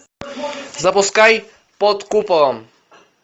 запускай под куполом